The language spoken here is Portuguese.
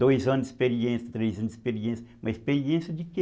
Dois anos de experiência, três anos de experiência, uma experiência de quê?